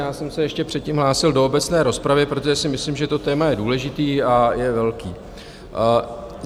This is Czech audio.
Já jsem se ještě předtím hlásil do obecné rozpravy, protože si myslím, že to téma je důležité a je velké.